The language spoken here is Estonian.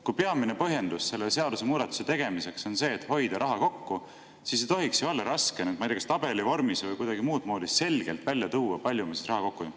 Kui peamine põhjendus selle seadusemuudatuse tegemiseks on see, et hoida raha kokku, siis ei tohiks ju olla raske, ma ei tea, kas tabeli vormis või kuidagi muud moodi selgelt välja tuua, kui palju me siis raha kokku hoiame.